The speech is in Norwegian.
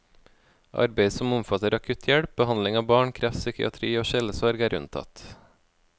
Arbeid som omfatter akutt hjelp, behandling av barn, kreft, psykiatri og sjelesorg er unntatt.